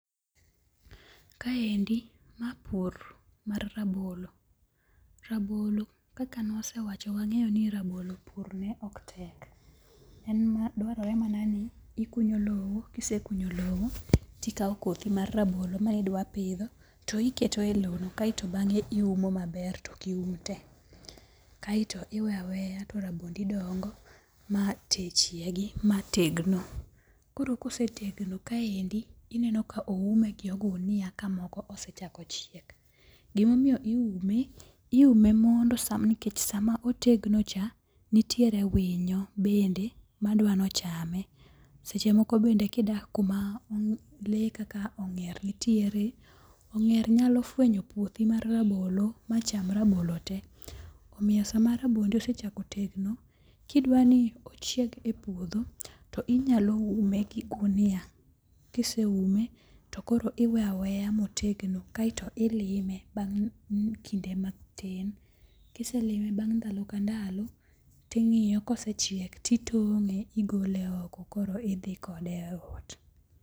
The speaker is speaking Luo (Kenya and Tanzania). Kaendi ma pur mar rabolo. Rabolo kaka newasewacho wang'eyo ni rabolo pur ne ok tek. Dwarore mana ni ikunyo low. Kisekunyo low, tikaw kothi mar rabolo mane idwaro pidho to iketo e low no kaeto bang'e iumo maber to ok ium te. Kaeto iweyo aweya to rabondi dongo ma chiegi mategno. Koro kosetegno kaendi ineno ka oume gi ogunia ka moko osechako chiek. Gima omiyo iume, iume mondo nikech sama otegno cha nitiere winyo bende madwaro ni ochame. Seche moko gidak kuma lee kaka ong'er nitiere, ong'er nyalo fwenyo puothi mar rabolo macham te. Omiyo sama rabondi osechako tegno, kidwa ni ochieg e puodho, to inyalo ume gi ogunia. Kise ume to koro iweyo aweya motedgo kaeto ilime bang. kinde matin. Kiselime bang. ndalo ka ndalo ting. iyo kosechiek titong.e igole oko koro idhi kode ot.